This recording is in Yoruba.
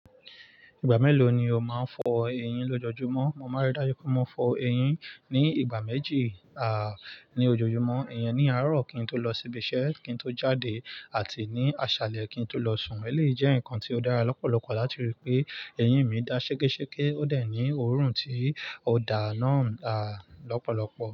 Ìgbà mélòó ni o máa ń fọ eyín lọ́jọ́júmọ́? Mo máa rí dájú pé mo fọ eyín ní ìgbà méjì, ní ojoojúmọ́. Eyẹn ni àárọ̀ kí n tó lọ sí ibi iṣẹ́ kí n tó jáde àti ní aṣálẹ̀ kí n tó lọ sùn. Èleyíi jẹ́ ǹkan tí ó dára lọ́pọ̀lọpọ̀ láti rí i pé eyín mi dá ṣékéṣéké, ó de ní òórùn tí ó daa náà, lọ́pọ̀lọpọ̀.